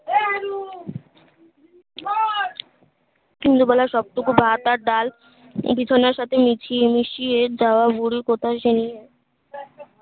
ইন্দু বলা সব থেকে ভাত আর ডাল এই বিছানার সাথে মিশিয়ে মিশিয়ে দেয়া হরি কোটা জানিয়ে